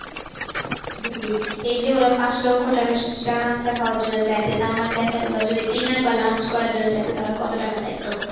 এই যে ওরা পাঁচ লক্ষ টাকা শুধু চা নাস্তা খাওয়ার জন্য চাইছে তার মানে দেখেন ওরা যদি dinner বাহঃ lunch করার জন্য চাইতো তাহলে কত টাকা চাইতো?